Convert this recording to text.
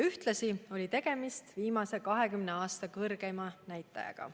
Ühtlasi oli tegemist viimase 20 aasta suurima näitajaga.